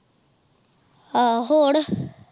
ਆਹ ਹੋਰ